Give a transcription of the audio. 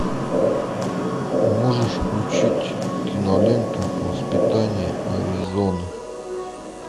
можешь включить киноленту воспитание аризоны